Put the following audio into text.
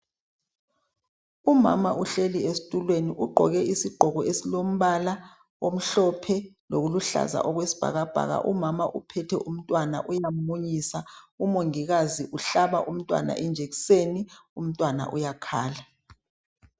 Umama uhleli esitulweni. Ugqoke isigqoko esilombala omhlophe lokuluhlaza okwesibhakabhaka. Umama uphethe umntwana uyammunyisa. Umongikazi uhlaba umntwana injekiseni. Umntwana uyakhala.